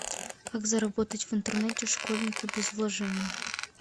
как заработать в интернете школьнику без вложений